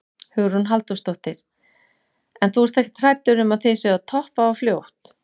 Hugrún Halldórsdóttir: En þú ert ekkert hræddur um að þið séuð að toppa of fljótt?